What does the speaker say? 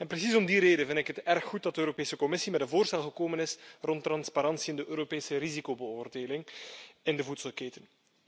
Precies om die reden vind ik het erg goed dat de Europese Commissie met een voorstel gekomen is rond transparantie in de Europese risicobeoordeling in de voedselketen.